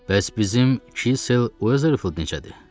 Bəs bizim Kitsel Weatherford necədir?